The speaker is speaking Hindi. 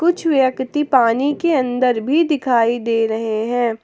कुछ व्यक्ति पानी के अंदर भी दिखाई दे रहे हैं।